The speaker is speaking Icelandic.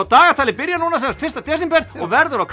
dagatalið byrjar núna fyrsta desember og verður á